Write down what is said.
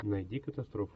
найди катастрофу